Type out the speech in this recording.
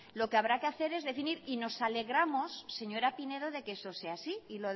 lo que habrá que hacer es definir y nos alegramos señora pinedo de que eso sea así y